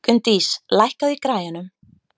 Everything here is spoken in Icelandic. Gunndís, lækkaðu í græjunum.